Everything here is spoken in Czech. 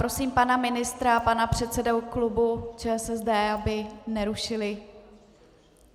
Prosím pana ministra a pana předsedu klubu ČSSD, aby nerušili.